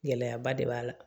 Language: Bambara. Gɛlɛyaba de b'a la